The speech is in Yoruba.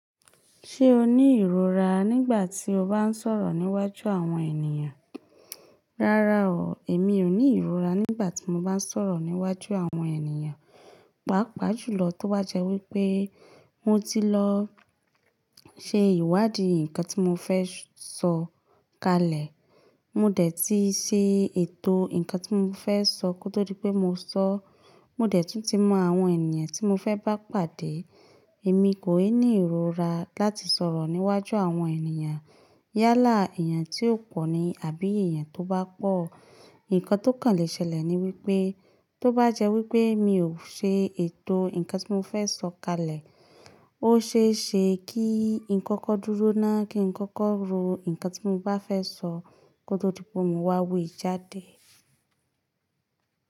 Ṣé o ní ìrora nígbà tí o bá ń sọ̀rọ̀ níwájú àwọn ènìyàn? Rárá o, èmi ò ní ìrora nígbà tí mo bá ń sọ̀rọ̀ níwájú àwọn ènìyàn. Pàápàá jùlọ tó bá jẹ́ wípé mo ti lọ ṣe ìwádìí ǹkan tí mo fẹ́ sọ kalẹ̀. Mo dẹ̀ ti ṣe ètò ǹkan tí mo fẹ́ sọ kó tó di pé mo sọ. Mo dẹ̀ tún ti mọ àwọn ènìyàn tí mo fẹ́ bá pàdé. Èmi kò i ní ìrora láti sọ̀rọ̀ níwájú àwọn ènìyàn. Yálà èèyàn tí ó pọ̀ ni àbí èèyàn tó bá pọ̀. Ǹkan tó kàn lè ṣẹlẹ̀ ni wípé tó bá jẹ́ wípé mi ò ṣe ètò ǹkan tí mo fẹ́ sọ kalẹ̀, ó ṣe é ṣe kí ǹko kọ́ dúró náà kí ǹko kọ́ ro ǹkan tí mo bá fẹ́ sọ kó tó di pé mo máa wí jáde.